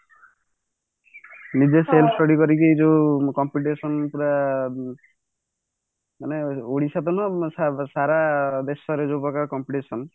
ନିଜେ self study କରିକି ଯୋଉ competition ପୁରା ମାନେ ଓଡିଶା ତ ନୁହଁ ସାରା ଦେଶରେ ଯୋଉ ପ୍ରକାର competition